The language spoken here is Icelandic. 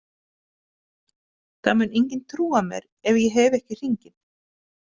Það mun enginn trúa mér ef ég hef ekki hringinn.